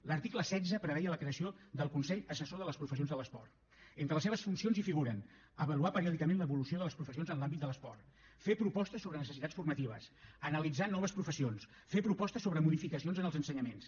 l’article setze preveia la creació del consell assessor de les professions de l’esport entre les seves funcions figuren avaluar periòdicament l’evolució de les professions en l’àmbit de l’esport fer propostes sobre necessitats formatives analitzar noves professions fer propostes sobre modificacions en els ensenyaments